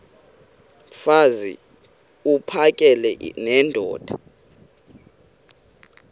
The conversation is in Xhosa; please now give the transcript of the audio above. mfaz uphakele nendoda